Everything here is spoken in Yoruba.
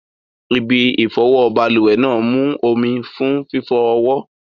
Ibi ìfọwọ́ balùwẹ̀ náà mú omi fún fífọ ọwọ́.